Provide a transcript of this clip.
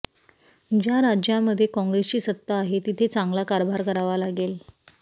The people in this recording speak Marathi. ज्या राज्यांमध्ये काँग्रेसची सत्ता आहे तिथे चांगला कारभार करावा लागेल